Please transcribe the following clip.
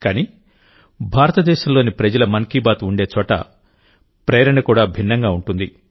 కానీ భారతదేశంలోని ప్రజల మన్ కీ బాత్ ఉండే చోట ప్రేరణ కూడా భిన్నంగా ఉంటుంది